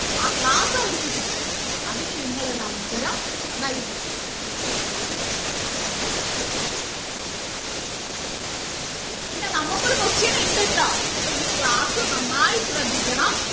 ആ class അവർക്ക് കിട്ടട്ടെ അതിന് നിങ്ങൾ ഒരു അവസരം നൽകൂ പിന്നെ നമ്മക്ക് ഒരു question ഉണ്ട് ട്ടോ അപ്പൊ ഈ class നന്നായി ശ്രദ്ധിക്കണം